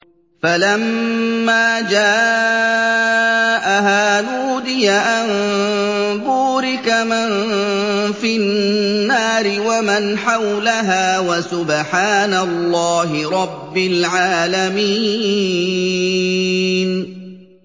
فَلَمَّا جَاءَهَا نُودِيَ أَن بُورِكَ مَن فِي النَّارِ وَمَنْ حَوْلَهَا وَسُبْحَانَ اللَّهِ رَبِّ الْعَالَمِينَ